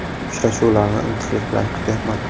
Uchrashuvlarni intiqlik bilan kutyapman.